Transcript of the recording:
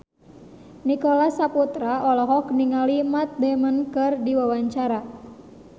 Nicholas Saputra olohok ningali Matt Damon keur diwawancara